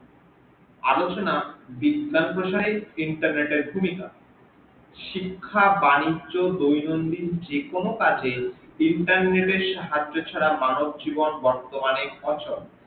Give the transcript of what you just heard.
আলচনা বিজ্ঞান প্রসারে internet এর ভুমিকা শিক্ষা বানিজ্য দৈনদ্দিন যেকোনো কাজে internet এর সাহাজ্য ছারা মানব জীবন বর্তমানে অচল